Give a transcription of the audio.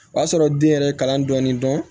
O y'a sɔrɔ den yɛrɛ ye kalan dɔɔni dɔn